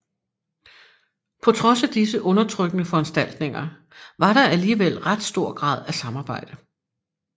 På trods af disse undertrykkende foranstaltninger var der alligevel ret stor grad af samarbejde